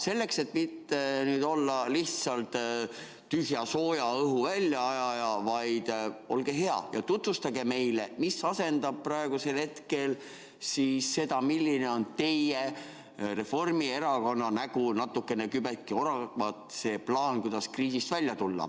Selleks, et mitte olla lihtsalt tühja sooja õhu väljaajaja, olge hea ja tutvustage meile, mis asendab praegusel hetkel seda, milline on teie Reformierakonna nägu, kübeke oravat, milline on see plaan, kuidas kriisist välja tulla.